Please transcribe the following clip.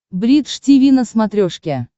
бридж тиви на смотрешке